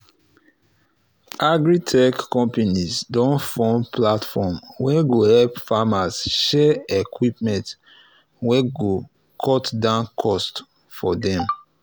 agri-tech companies don form platform wey go help farmers share equipment wey go cut down cost for dem